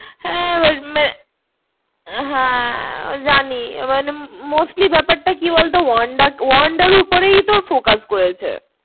হ্যাঁ~হ্যাঁ জানি এবার mostly ব্যাপারটা কি বলত? wanda wanda উপরেই তো focus করেছে।